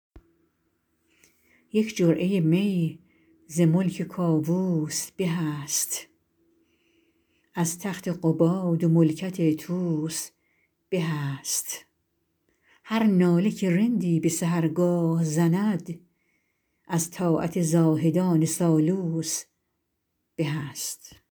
یک جرعه می ز ملک کاووس به است از تخت قباد و ملکت طوس به است هر ناله که رندی به سحرگاه زند از طاعت زاهدان سالوس به است